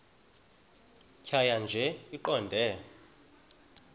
tjhaya nje iqondee